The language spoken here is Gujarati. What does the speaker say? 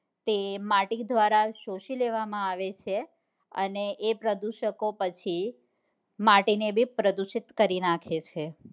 તે માટી દ્વાર શોષી લેવા મ આવે છે અને એ પ્રદૂષકો પછી માટી ને બી પ્રદુષિત કરી નાખે છે